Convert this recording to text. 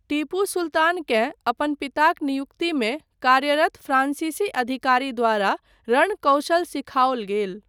टीपू सुल्तानकेँ अपन पिताक नियुक्तिमे कार्यरत फ्रांसीसी अधिकारी द्वारा रण कौशल सिखआओल गेल।